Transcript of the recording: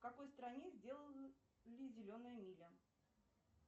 в какой стране сделана зеленая миля